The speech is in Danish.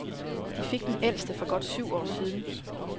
De fik den ældste for godt syv år siden.